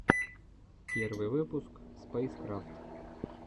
первый выпуск спэйскрафт